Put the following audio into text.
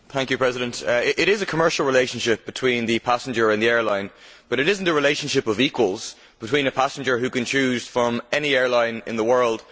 Madam President, there is a commercial relationship between the passenger and the airline, but it is not a relationship of equals involving a passenger who can choose from any airline in the world.